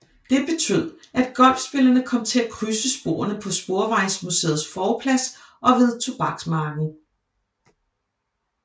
Det betød at golfspillerne kom til at krydse sporene på Sporvejsmuseets forplads og ved Tobaksmarken